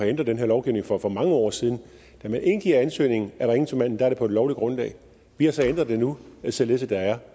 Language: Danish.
ændret den her lovgivning for for mange år siden da man indgiver ansøgningen er det på et lovligt grundlag vi har så ændret det nu således at der er